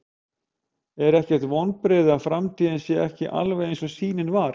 Er ekkert vonbrigði að framtíðin sé ekki alveg eins og sýnin var?